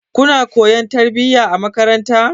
Kuna koyon tarbiyya a makaranta.